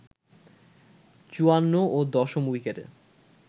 ৫৪ ও দশম উইকেটে